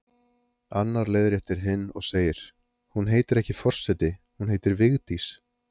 Annar leiðréttir hinn og segir: Hún heitir ekki forseti, hún heitir Vigdís